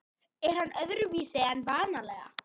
Er hann öðruvísi en vanalega?